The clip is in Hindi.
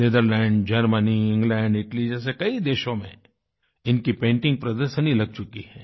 नेदरलैंड्स जर्मनी इंग्लैंड इटाली जैसे कई देशों में इनकी पेंटिंग प्रदर्शनी लग चुकी है